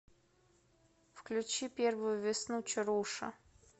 включи первую весну чаруша